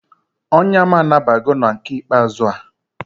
Onya m anabago na nke ikpeazu a